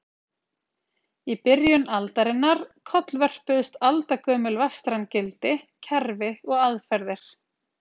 Í byrjun aldarinnar kollvörpuðust aldagömul vestræn gildi, kerfi og aðferðir.